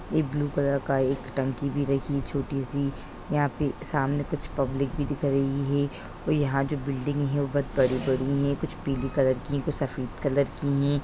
एक् blue colour का एक टंकी भी रखी है छोटी सी। यहाँ पे सामने कुछपब्लिक भी दिख रही है और यहाँ जो बिल्डिंग है वो बहुत बड़ी-बड़ी है। कुछ पीली कलर की हैं कुछ सफेद कलर की हैं।